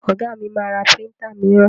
Ọ̀gá mi ma ra príntà míràn.